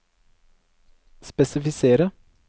spesifisere